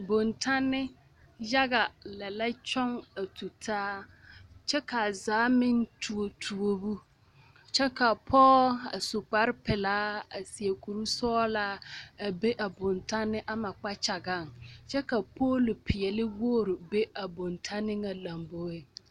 Boŋtanne yaga lɛ la kyɔŋ a tutaa kyɛ kaa zaa meŋ tuo tuobo kyɛ kavpɔɔ a su kpare pelaa a seɛ kurisɔglaa a be a boŋtanne ama kpakyagaŋ kyɛ ka pooli peɛle wogre be a boŋtanne ŋa lomboeŋ.